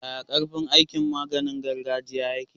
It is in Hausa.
Yaya karfin aikin maganiin gargajiya yake?